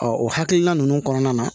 o hakilina ninnu kɔnɔna na